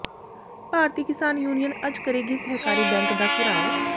ਭਾਰਤੀ Kisan Union ਅੱਜ ਕਰੇਗੀ ਸਹਿਕਾਰੀ ਬੈਂਕ ਦਾ ਘਿਰਾਓ